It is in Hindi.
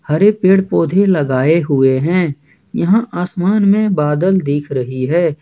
हरे पेड़ पौधे लगाए हुए हैं यहां आसमान में बादल दिख रही है।